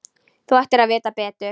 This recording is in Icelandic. Þú ættir að vita betur.